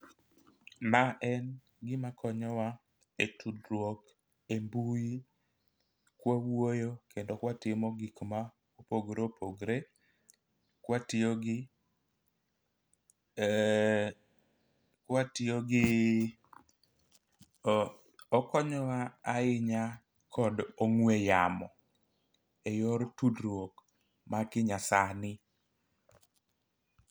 Ma en gima konyowa e tudruok embui kwawuoyo kendo kwatimo gik ma opogore opogore kwatiyo gi ee kwatiyo giiii o okonyowa ahinya kod ong'we yamo e yor tudruok ma kinya sani.